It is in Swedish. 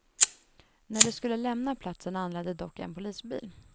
När de skulle lämna platsen anlände dock en polisbil.